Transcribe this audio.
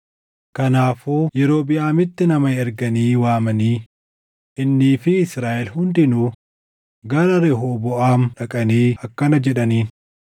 Kanaafuu Yerobiʼaamitti nama erganii waamanii, innii fi Israaʼel hundinuu gara Rehooboʼaam dhaqanii akkana jedhaniin: